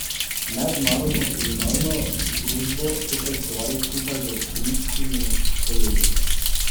Mednarodno kriminalno združbo so preiskovali skupaj z avstrijskimi kolegi.